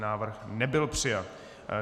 Návrh nebyl přijat.